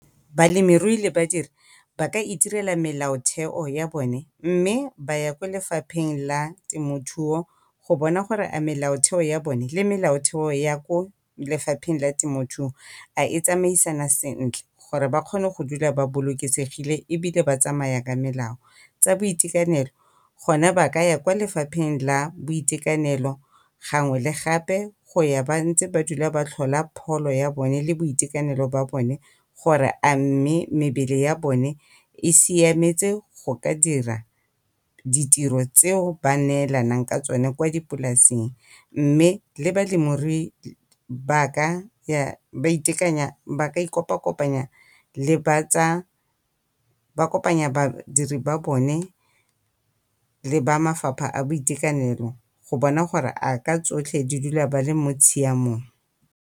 Balemirui le badiri ba ka itirela melaotheo ya bone mme ba ya kwa lefapheng la temothuo go bona gore melaotheo ya bone le melaotheo ya ko lefapheng la temothuo, a e tsamaisana sentle gore ba kgone go dula ba bolokesegile ebile ba tsamaya ka melao. Tsa boitekanelo gone ba ka ya ko lefapheng la boitekanelo gangwe le gape go ya ba ntse ba dula ba tlhola pholo ya bone leitekanelo ba bone gore a mme mebele ya bone e siametse go ka dira ditiro tseo ba neelanang ka tsone kwa dipolasing, mme le balemirui ba ka ya ba ikopa-kopanya le ba tsa, ba kopanya badiri ba bone le ba lefapha la boitekanelo go bona gore a ka tsotlhe ba dula ba le mo tshiamong.